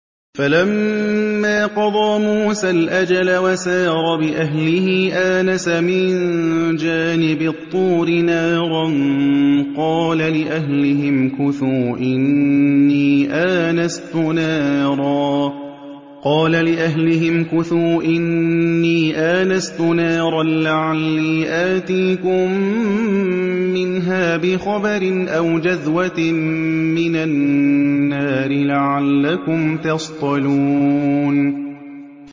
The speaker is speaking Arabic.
۞ فَلَمَّا قَضَىٰ مُوسَى الْأَجَلَ وَسَارَ بِأَهْلِهِ آنَسَ مِن جَانِبِ الطُّورِ نَارًا قَالَ لِأَهْلِهِ امْكُثُوا إِنِّي آنَسْتُ نَارًا لَّعَلِّي آتِيكُم مِّنْهَا بِخَبَرٍ أَوْ جَذْوَةٍ مِّنَ النَّارِ لَعَلَّكُمْ تَصْطَلُونَ